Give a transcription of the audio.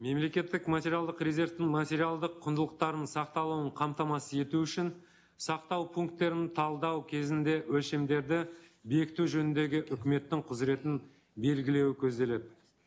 мемлекеттік материалдық резервтің материалдық құндылықтарының сақталуын қамтамасыз ету үшін сақтау пункттерін талдау кезінде өлшемдерді бекіту жөніндегі үкіметтің құзыретін белгілеуі көзделеді